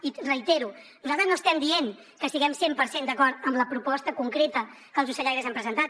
i ho reitero nosaltres no estem dient que estiguem cent per cent d’acord amb la proposta concreta que els ocellaires han presentat